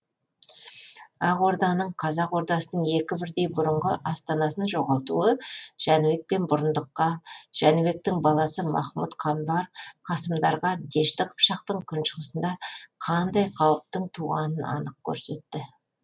ақ орданың қазақ ордасының екі бірдей бұрынғы астанасын жоғалтуы жәнібек пен бұрындыққа жәнібектің баласы махмұд қамбар қасымдарға дешті қыпшақтың күншығысында қандай қауіптің туғанын анық көрсетті